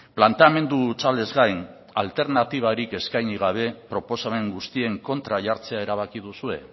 planteamendu hutsalez gain alternatibarik eskaini gabe proposamen guztien kontra jartzea erabaki duzue